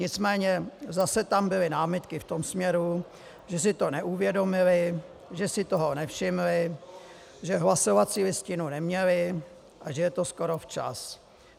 Nicméně zase tam byly námitky v tom směru, že si to neuvědomili, že si toho nevšimli, že hlasovací listinu neměli a že je to skoro včas.